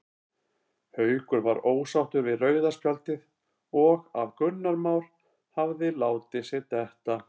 Haukur var ósáttur við rauða spjaldið og að Gunnar Már hafi látið sig detta.